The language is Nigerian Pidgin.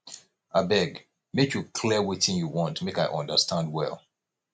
abeg make you clear wetin you want make i understand well